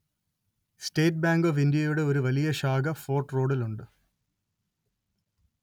state Bank of ഇന്ത്യയുടെ ഒരു വലിയ ശാഖ ഫോര്‍ട്ട് റോഡില്‍ ഉണ്ട്